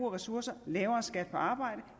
af ressourcer og lavere skat på arbejde